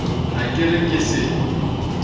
ha ke re ke se